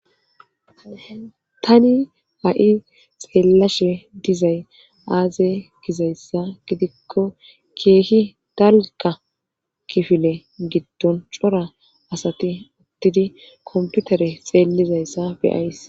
ani a7i xeellashe dizay aaze gizayssa gidikko keehi dalka kifile giddon cora asati uttidi komputare xeellizayssa beyays.